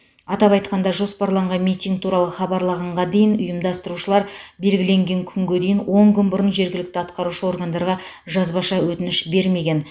атап айтқанда жоспарланған митинг туралы хабарлағанға дейін ұйымдастырушылар белгіленген күнге дейін он күн бұрын жергілікті атқарушы органдарға жазбаша өтініш бермеген